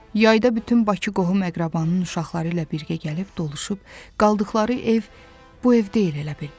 Yayda bütün Bakı qohum əqrabanın uşaqları ilə birgə gəlib doluşub qaldıqları ev bu ev deyil elə bil.